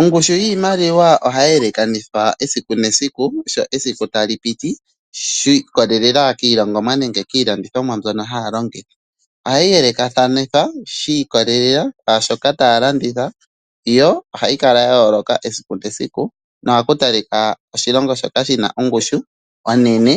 Ongushu yiimaliwa ohayi elekanithwa esiku nesiku, sho esiku ta li piti shi ikolela kiilongomwa nenge kiilandithomwa mbyono haya longitha. Ohayi elekathanithwa shi ikolela kwashoka taya landitha yo ohayi kala ya yoloka esiku nesiku, nohaku talikwa oshilongo shoka shina ongushu onene